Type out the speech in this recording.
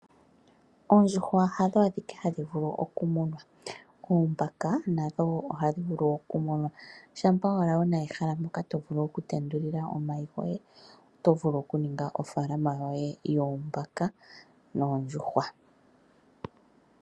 Oondjuhwa hadho adhike hadhi vulu okumunwa, oombaka nadho ohadhi vulu okumunwa shampa owala wuna ehala moka tovulu okutendulila omayi goye , oto vulu okukala wuna ofaalama yoye yoombaka noondjuhwa.